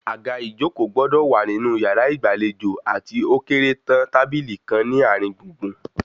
Àga ìjókòó gbọdọ̀ wà nínú yàrá ìgbàlejò àti ókéré tán tábìlì kan ní àárín gbùngbùn